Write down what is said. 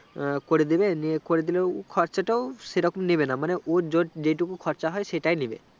করেদিবে নিয়ে করেদিলে খরচাটো সেরকম নিবে না মানে ওর জযেটুকু খরচ হয় সেটাই নিবে